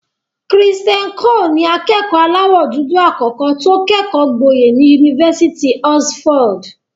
Christian Coler ni akẹ́kọ̀ọ́ aláwọ̀ dúdú àkọ́kọ́ tó kẹ́kọ̀ọ́ gboyè ní Yunifásitì Oxford.